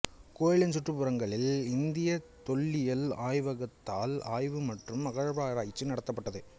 கோயிலின் சுற்றுப்புறங்களில் இந்தியத் தொல்லியல் ஆய்வகத்தால் ஆய்வு மற்றும் அகழ்வாராய்ச்சி நடத்தப்பட்டது